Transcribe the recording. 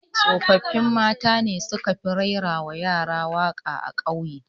Tsoffin mata ne su ka fi raira wa yara waƙa a ƙauye